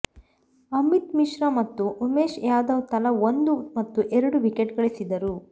ಅಮಿತ್ ಮಿಶ್ರಾ ಮತ್ತು ಉಮೇಶ್ ಯಾದವ್ ತಲಾ ಒಂದು ಮತ್ತು ಎರಡು ವಿಕೆಟ್ ಗಳಿಸಿದರು